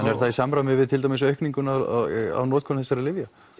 er það í samræmi við til dæmis aukninguna á notkun þessara lyfja